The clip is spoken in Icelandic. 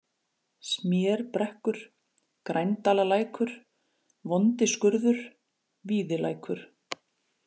Smérbrekkur, Grændalalækur, Vondiskurður, Víðilækur